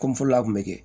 Komi fɔlɔ kun bɛ kɛ